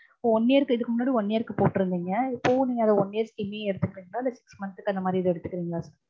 இப்போ one year க்கு இதுக்கு முன்னாடி one year க்கு போட்டிருந்தீங்க. இப்பவும் நீங்க அத one year scheme மையே எடுத்துக்கறீங்களா இல்ல six month க்கு அந்த மாதிரி ஏதும் எடுத்துக்கறீங்களா?